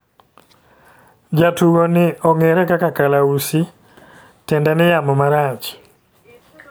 Jatugo ni ong'ere kaka Kalausi ,tiende ni yamo marach.